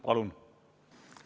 Palun!